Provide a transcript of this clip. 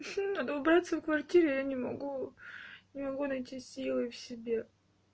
всё надо убраться в квартире а я не могу не могу найти силы в себе